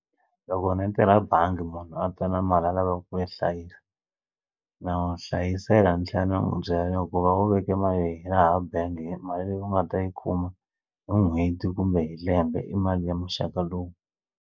Loko ni yi tirha bangi munhu a ta na mali a lavaka ku yi hlayisa na n'wi hlayisela ni tlhela ni n'wi byela ku va u veke mali hi laha bangi mali leyi u nga ta yi kuma hi n'hweti kumbe hi lembe i mali ya muxaka lowu.